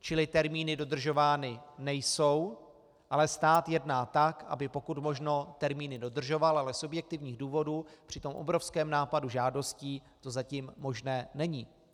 Čili termíny dodržovány nejsou, ale stát jedná tak, aby pokud možno termíny dodržoval, ale z objektivních důvodů při tom obrovském nápadu žádostí to zatím možné není.